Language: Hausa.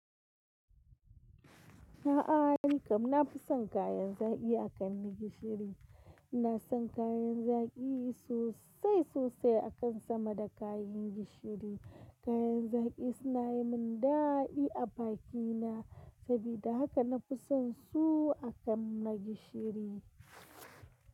A'a, ni kam na fi son kayan zaki akan na gishiri. Ina son kayan zaki sosai sosai akan sama da kayan gishiri. Kayan zaki suna yi mun dadi a bakina sabida haka na fi son su akan na gishiri.